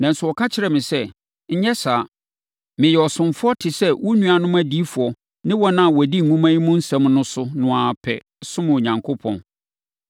Nanso, ɔka kyerɛɛ me sɛ, “Nyɛ saa! Meyɛ ɔsomfoɔ te sɛ wo nuanom adiyifoɔ ne wɔn a wɔdi nwoma yi mu nsɛm no so no ara pɛ. Som Onyankopɔn!”